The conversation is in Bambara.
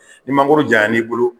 Ni mangolo jayanna n'i bolo